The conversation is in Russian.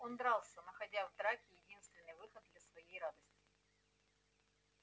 он дрался находя в драке единственный выход для своей радости